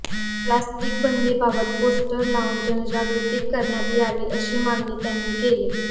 plastic बंदीबाबत poster लावून जनजागृती करण्यात यावी अशी मागणी त्यांनी केली